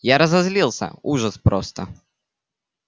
я разозлился ужас просто